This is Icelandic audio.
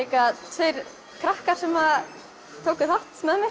tveir krakkar sem tókum þátt með mér